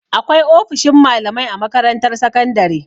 Akwai ofishin malamai a makarantar sakandare.